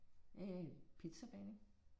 Æh pizzabagning